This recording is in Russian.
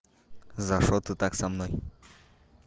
за что ты так со мной